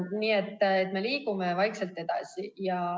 Nii et me liigume vaikselt edasi.